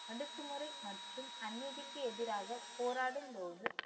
அடக்குமுறை மற்றும் அநீதிக்கு எதிராக போராடும் போது